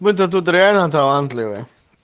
вы то тут реально талантливые